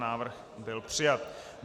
Návrh byl přijat.